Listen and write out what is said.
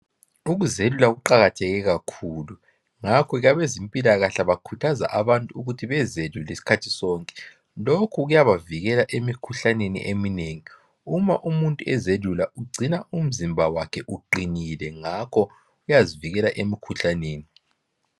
Ukuzelula kuqakatheke kakhulu ngakho abezempila kahle bakhuthaza abantu ukuthi bezelule isikhathi sonke lokhu kuyabavikela emikhuhlaneni eminengi uma umuntu ezelula ugcina umzimba wakhe uqinile ngakho uyazivikela emikhuhlaneni